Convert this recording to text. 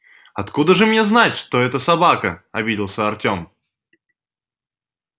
откуда же мне знать что это собака обиделся артём